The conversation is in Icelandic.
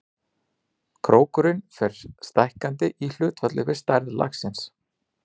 Krókurinn fer stækkandi í hlutfalli við stærð laxins.